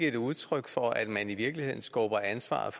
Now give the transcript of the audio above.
et udtryk for at man i virkeligheden skubber ansvaret